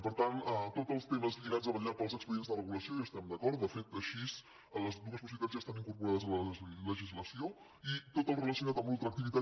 i per tant tots els temes lligats a vetllar pels expedients de regulació hi estem d’acord de fet així les dues possibilitats ja estan incorporades a la legislació i tot el relacionat amb la ultraactivitat